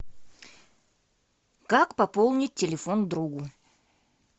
как пополнить телефон другу